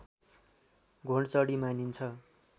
घोडचढी मानिन्छ